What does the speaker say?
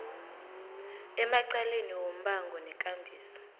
emacaleni wombango nekambiso